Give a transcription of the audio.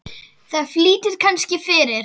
Það flýtir kannski fyrir.